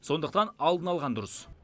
сондықтан алдын алған дұрыс